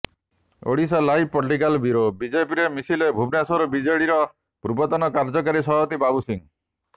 Odisha live political bureau ବିଜେପିରେ ମିଶିଲେ ଭୁବନେଶ୍ୱର ବିଜେଡିର ପୂର୍ବତନ କାର୍ଯ୍ୟକାରୀ ସଭାପତି ବାବୁ ସିଂହ